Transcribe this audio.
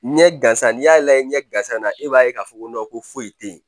Ɲɛ gansan n'i y'a lajɛ ɲɛ gansan na e b'a ye k'a fɔ ko ko foyi tɛ yen